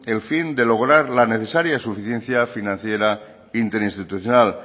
el fin de lograr la necesaria suficiencia financiera interinstitucional